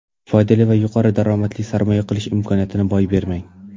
Foydali va yuqori daromadli sarmoya qilish imkoniyatini boy bermang!